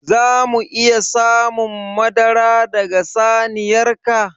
Za mu iya samun madara daga saniyar ka?